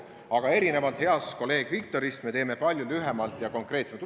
Aga erinevalt heast kolleeg Viktorist me teeme palju lühemalt ja konkreetsemalt.